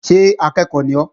Ṣé akẹ́ẹ̀kọ́ ni ọ́?